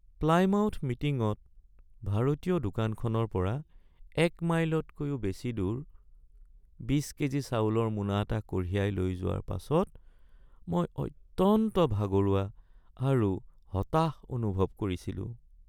Plymouth মিটিংত ভাৰতীয় দোকানখনৰ পৰা এক মাইলতকৈও বেছি দূৰ ২০ কেজি চাউলৰ মোনা এটা কঢ়িয়াই লৈ যোৱাৰ পাছত মই অত্যন্ত ভাগৰুৱা আৰু হতাশ অনুভৱ কৰিছিলোঁ।